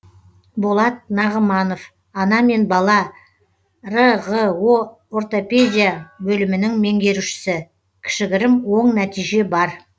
болат нағыманов ана мен бала рғо ортопедия бөлімінің меңгерушісі кішігірім оң нәтиже бар